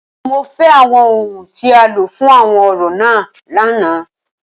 Mo fẹ awọn ohun ti a lo fun awọn orȯ náà làná!